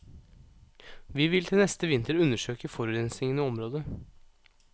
Vi vil til neste vinter undersøke forurensingen i området.